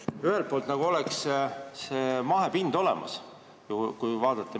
Ühelt poolt on see mahepind olemas, kui metsamaad vaadata.